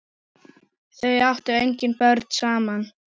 Þau áttu engin börn saman.